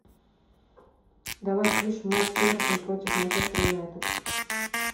давай включим матч эвертон против манчестер юнайтед